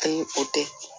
Ayi o tɛ